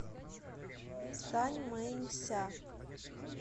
саньмэнься